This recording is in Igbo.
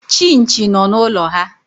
Chinchi nọ n'ụlọ ha.